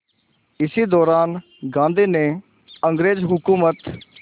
इसी दौरान गांधी ने अंग्रेज़ हुकूमत